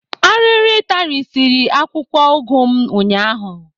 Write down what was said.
Arịrị tarisiri akwụkwọ ụgụ m ụnyaahụ.